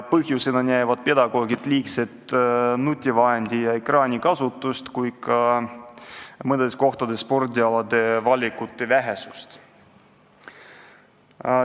Põhjusena näevad pedagoogid nii liigset nutivahendi- ja ekraanikasutust kui ka mõnes kohas spordialade valikute vähesust.